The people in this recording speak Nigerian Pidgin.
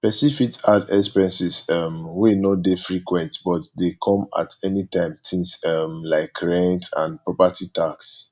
person fit add expenses um wey no dey frequent but dey come at anytime things um like rent and property tax